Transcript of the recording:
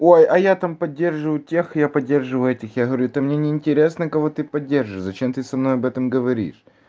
ой а я там поддерживаю тех я поддерживаю этих я говорю это мне не интересно кого ты подержишь зачем ты со мной об этом говоришь